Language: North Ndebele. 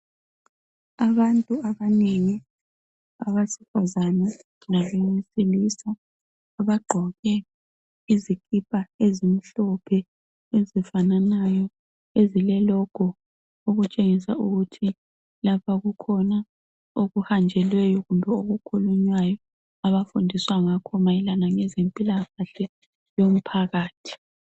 Abantu abanengi, abesifazana labesilisa.! Abagqoke izikipa ezimhlophe, ezifananayo, ezilelogo. Okutshengisa ukuthi lapha kukhona okuhanjelweyo, kume okukhulunywayo. Abafundiswa ngakho mayelana lempilakahle, yomphakathi.